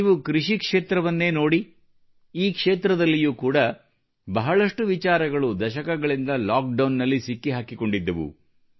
ನೀವು ಕೃಷಿ ಕ್ಷೇತ್ರವನ್ನೇ ನೋಡಿ ಈ ಕ್ಷೇತ್ರದಲ್ಲಿಯೂ ಕೂಡ ಬಹಳಷ್ಟು ವಿಚಾರಗಳು ದಶಕಗಳಿಂದ ಲಾಕ್ಡೌನ್ನಲ್ಲಿ ಸಿಕ್ಕಿಹಾಕಿಕೊಂಡಿದ್ದವು